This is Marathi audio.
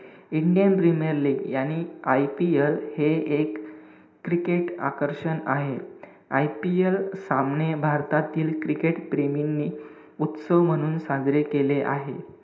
इंडियन प्रीमियर लीग IPL हे एक cricket आकर्षण आहे. IPL सामने भारतातातील cricket प्रेमींनी उत्सव म्हणून साजरे केले आहेत.